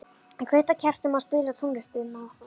Ég kveiki á kertum og spila tónlistina okkar.